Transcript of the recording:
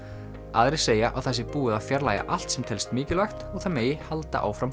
aðrir segja að það sé búið að fjarlægja allt sem telst mikilvægt og það megi halda áfram